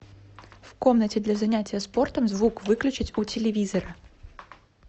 в комнате для занятия спортом звук выключить у телевизора